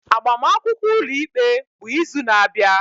Agbamakwụkwọ ụlọikpe bụ izu na-abịa.